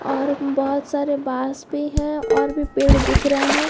और बहोत सारे बास भी है और भी पेड़ दिख रहे है।